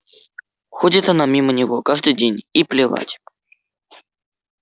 ходит она мимо него каждый день и плевать